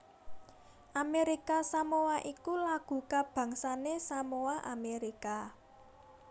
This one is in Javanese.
Amérika Samoa iku lagu kabangsané Samoa Amérika